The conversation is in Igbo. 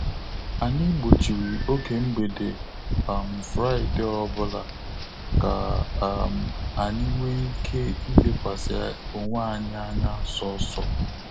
Anyị gbochiri oge mgbede um Fraịdee ọbụla ka um anyị nwe ike I lekwasị onwe anyị anya sọsọ